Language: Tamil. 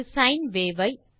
ஒரு சைன் வேவ் ஐ